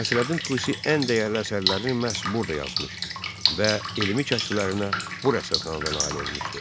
Nəsrəddin Tusi ən dəyərli əsərlərini məhz burda yazmış və elmi kəşflərinə bu rəsədxanada nail olmuşdu.